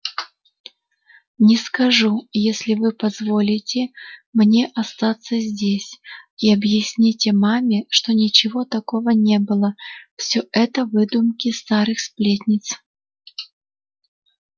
не скажу если вы позволите мне остаться здесь и объясните маме что ничего такого не было все это выдумки старых сплетниц